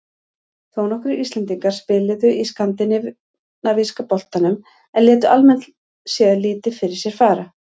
Þónokkrir Íslendingar spiluðu í Skandinavíska boltanum en létu almennt séð lítið fyrir sér fara.